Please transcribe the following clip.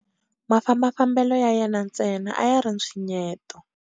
Mafambafambelo ya yena ntsena a ya ri ntshwinyeto.